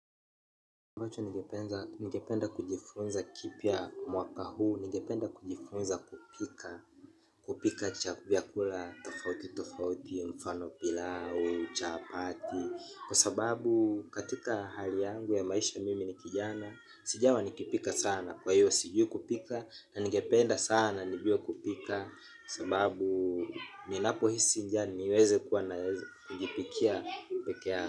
Ambacho ningependa kujifunza kipia mwaka huu, ningependa kujifunza kupika. Kupika chavyakula tofauti tofauti, mfano pilau, chapati. Kwa sababu katika hali yangu ya maisha mimi nikijana. Sijawa nikipika sana, kwa hiyo siju kupika. Nanigependa sana nibiwa kupika. Kwa sababu minapo hisi njani, niweze kuwa naweze kujipikia peke ya.